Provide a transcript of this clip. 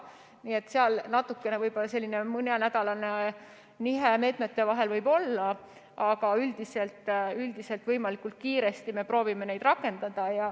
Nii et võib olla mõnenädalane nihe meetmete vahel, aga üldiselt me proovime võimalikult kiiresti neid rakendada.